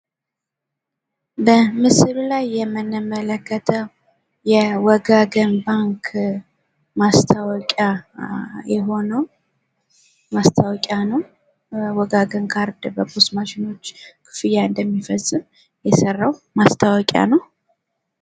በምስሉ ላይ የምንመለከተው የወጋገን ባንክ ማስታወቂያ የሆነው ማስታወቂያ ነው። ወጋገን ባንክ ማሽኖች ክፍያ እንደሚፈጽም የሰራው ማስታወቂያ ነው።